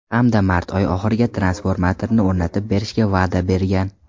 Hamda mart oyi oxiriga transformatorni o‘rnatib berishga va’da bergan.